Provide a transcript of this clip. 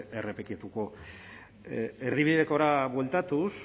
errepikatuko erdibidekora bueltatuz